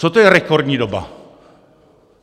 Co to je rekordní doba?